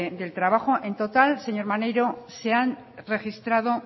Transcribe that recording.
del trabajo en total señor maneiro se han registrado